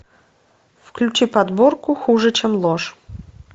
включи подборку хуже чем ложь